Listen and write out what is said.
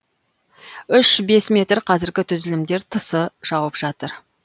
үш бес метр қазіргі түзілімдер тысы жауып жатыр